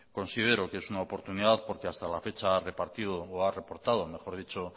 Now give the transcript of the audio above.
considero que es una oportunidad porque hasta la fecha ha repartido o ha reportado mejor dicho